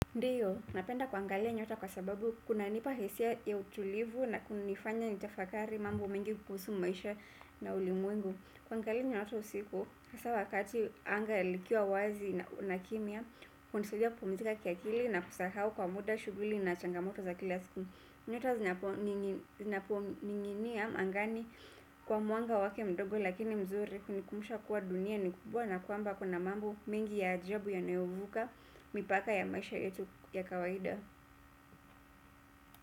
Ndiyo, napenda kuangalia nyota kwa sababu kunanipa hisia ya utulivu na kunifanya nitafakari mambo mingi kuhusu maisha na ulimwengu. Kuangalia nyoto usiku, hasaa wakati anga likiwa wazi na kimya, hunisaidia kupumzika kiakili na kusahau kwa muda shughuli na changamoto za kila siku. Nyota zinaponinginia angani kwa mwanga wake mdogo lakini mzuri hunikumbusha kuwa dunia ni kubwa na kwamba kuna mambo mengi ya ajabu yanayovuka mipaka ya maisha yetu ya kawaida.